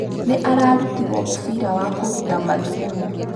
Nĩ ararutirwo mũbira wa kũruta mathugumo.